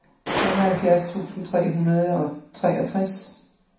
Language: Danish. femoghalvfjerds tusind tre hundrede og treogtres